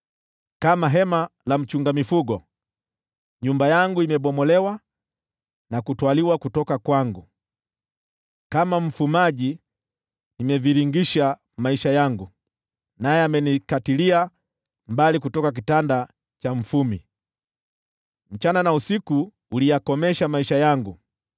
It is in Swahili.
Kama hema la mchunga mifugo, nyumba yangu imebomolewa na kutwaliwa kutoka kwangu. Kama mfumaji nimevingirisha maisha yangu, naye amenikatilia mbali kutoka kitanda cha mfumi. Mchana na usiku uliyakomesha maisha yangu.